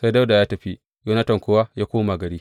Sai Dawuda ya tafi, Yonatan kuwa ya koma gari.